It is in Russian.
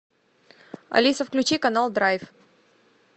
алиса включи канал драйв